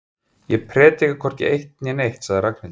Ég predika hvorki eitt né neitt sagði Ragnhildur.